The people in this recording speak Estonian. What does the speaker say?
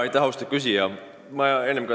Aitäh, austatud küsija!